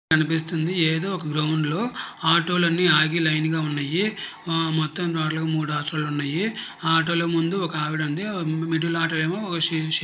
కనిపిస్తుంది ఏదొక గ్రౌండ్ లో ఆటో లు అన్నీ ఆగి లైన్ లో ఉన్నాయి ఆ మొత్తం టోటల్ గ మూడు ఆటో లు ఉన్నాయి ఆ ఆటో లు ముందు ఒక ఆవిడ వుంది మిడిల్ ఆటో లోని ఏమో --